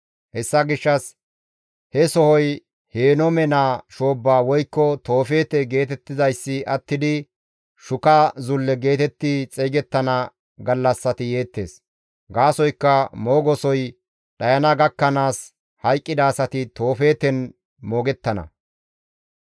Hessa gishshas he sohoy Henoome naa shoobba woykko Toofeete geetettizayssi attidi Shuka Zulle geetetti xeygettana gallassati yeettes. Gaasoykka moogosoy dhayana gakkanaas hayqqida asati Toofeeten moogettana.